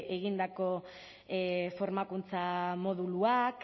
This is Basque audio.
egindako formakuntza moduluak